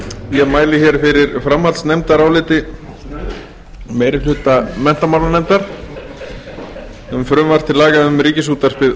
ég mæli fyrir framhaldsnefndaráliti meiri hluta menntamálanefndar um frumvarp til laga um ríkisútvarpið o h